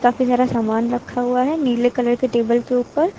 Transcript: यहां पे सारा सामान रखा हुआ है नीले कलर के टेबल के ऊपर।